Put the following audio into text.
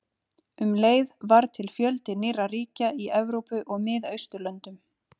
Um leið varð til fjöldi nýrra ríkja í Evrópu og Miðausturlöndum.